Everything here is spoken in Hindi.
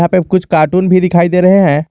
कुछ कार्टून भी दिखाई दे रहे हैं।